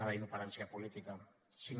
b inoperància política cinc